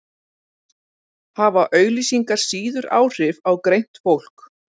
hafa auglýsingar síður áhrif á greint fólk